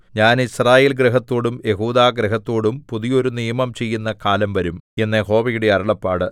ഞാൻ യിസ്രായേൽ ഗൃഹത്തോടും യെഹൂദാഗൃഹത്തോടും പുതിയൊരു നിയമം ചെയ്യുന്ന കാലം വരും എന്ന് യഹോവയുടെ അരുളപ്പാട്